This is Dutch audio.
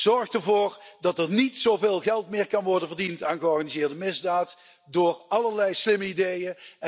Zorg ervoor dat er niet zoveel geld meer kan worden verdiend aan georganiseerde misdaad door allerlei slimme ideeën.